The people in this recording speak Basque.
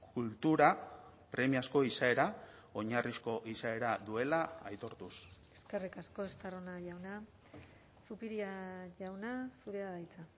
kultura premiazko izaera oinarrizko izaera duela aitortuz eskerrik asko estarrona jauna zupiria jauna zurea da hitza